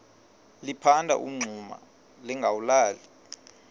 liphanda umngxuma lingawulali